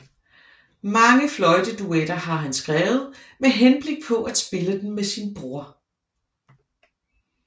Mange fløjteduetter har han skrevet med henblik på at spille dem med sin bror